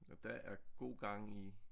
Og der er god gang i